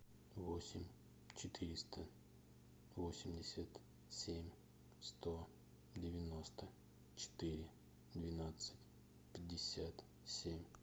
восемь четыреста восемьдесят семь сто девяносто четыре двенадцать пятьдесят семь